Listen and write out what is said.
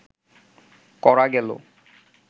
করা গেল